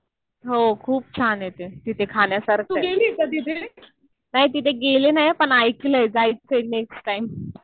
हो. खूप छान आहे ते. तिथे खाण्यासारखं आहे. नाही तिथे गेले नाही पण ऐकलंय. जायचंय नेक्स्ट टाइम.